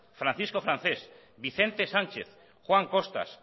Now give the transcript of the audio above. francisco francés vicente sánchez juan costas